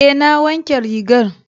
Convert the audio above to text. Eh na wanke rigar.